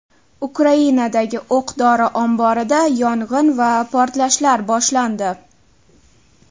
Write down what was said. Ukrainadagi o‘q-dori omborida yong‘in va portlashlar boshlandi .